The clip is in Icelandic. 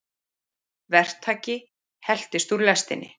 Verktaki heltist úr lestinni